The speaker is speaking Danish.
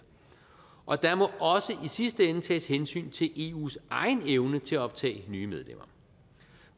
og der må også i sidste ende tages hensyn til eus egen evne til at optage nye medlemmer